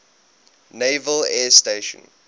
naval air station